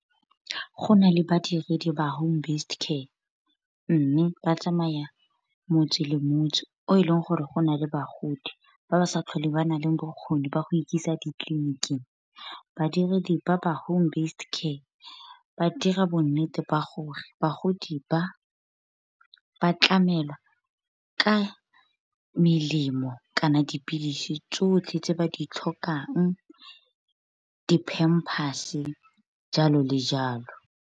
Gona le badiredi ba Home-based care, mme ba tsamaye motse le motse, o e leng gore go na le bagodi, ba ba sa tlhole ba na le bokgoni ba go ikisa ditleliniking. Badiredi ba ba Home-based care ba dira bo nnete ba gore bagodi ba, ba tlamelwa ka melemo, kana dipilisi tsotlhe tse ba di tlhokang, di-pampers, jalo le jalo.